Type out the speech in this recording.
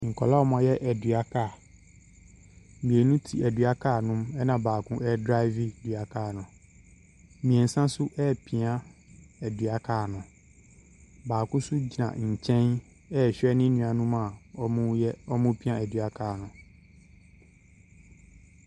Nkwadaa a wɔayɛ dua kaa. Mmienu te dua kaa ne mu na baako ɛredrive dua kaa no. mmiɛnsa nso ɛrepia dua kaa no, baako nso gyina nkyɛn ɛrehwɛ ne nuanom a wɔreyɛ wɔrepia dua kaa no.